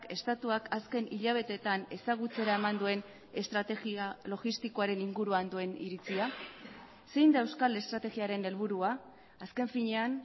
estatuak azken hilabeteetan ezagutzera eman duen estrategia logistikoaren inguruan duen iritzia zein da euskal estrategiaren helburua azken finean